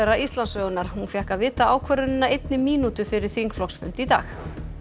Íslandssögunnar hún fékk að vita ákvörðunina einni mínútu fyrir þingflokksfund í dag